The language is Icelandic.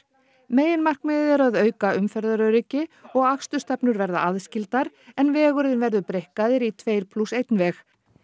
meginmarkmiðið er að auka umferðaröryggi og akstursstefnur verða aðskildar en vegurinn verður breikkaður í tveir plús einn veg